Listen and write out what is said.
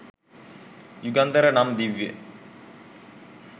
යුගන්ධර නම් දිව්‍ය